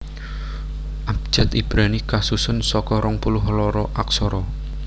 Abjad Ibrani kasusun saka rong puluh loro aksara